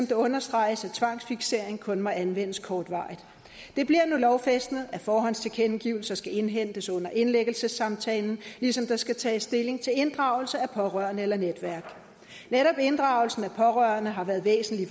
det understreges at tvangsfiksering kun må anvendes kortvarigt det bliver nu lovfæstet at forhåndstilkendegivelse skal indhentes under indlæggelsesamtalen ligesom der skal tages stilling til inddragelse af pårørende eller netværk netop inddragelsen af pårørende har været væsentlig